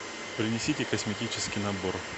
принесите косметический набор